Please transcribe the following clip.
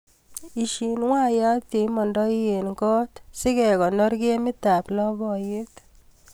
Ishii waiyat yeimandi eng kot sikekonor kemitap lapkeiyet.